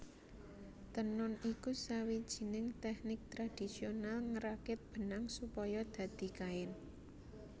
Tenun iku sawijining tèknik tradisional ngrakit benang supaya dadi kain